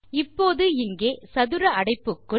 இப்போது இங்கே சதுர அடைப்புக்குள்